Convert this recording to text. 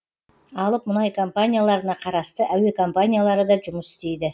алып мұнай компанияларына қарасты әуе компаниялары да жұмыс істейді